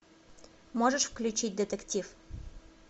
можешь включить детектив